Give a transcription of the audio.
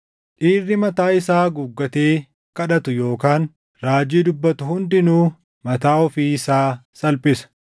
Dhiirri mataa isaa haguuggatee kadhatu yookaan raajii dubbatu hundinuu mataa ofii isaa salphisa.